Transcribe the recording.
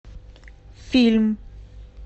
фильм